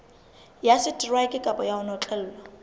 ya seteraeke kapa ho notlellwa